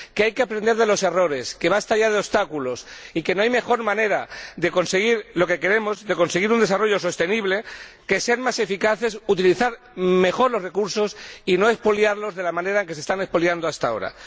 que hay que aprender de los errores, que basta ya de obstáculos y que no hay mejor manera de conseguir lo que queremos, un desarrollo sostenible, que ser más eficaces, utilizar mejor los recursos y no expoliarlos de la manera en que se están expoliando hasta ahora.